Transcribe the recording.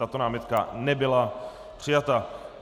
Tato námitka nebyla přijata.